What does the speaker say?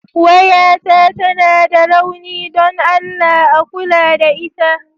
Wayata tana da rauni don Allah a kula da ita.